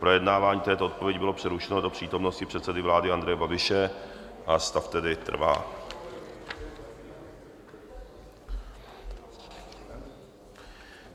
Projednávání této odpovědi bylo přerušeno do přítomnosti předsedy vlády Andreje Babiše, a stav tedy trvá.